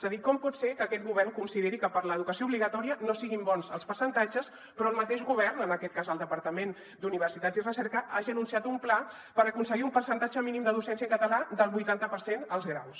és a dir com pot ser que aquest govern consideri que per a l’educació obligatòria no son bons els percentatges però el mateix govern en aquest cas el departament d’universitats i recerca hagi anunciat un pla per aconseguir un percentatge mínim de docència en català del vuitanta per cent als graus